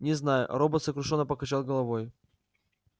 не знаю робот сокрушённо покачал головой